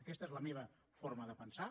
aquesta és la meva forma de pensar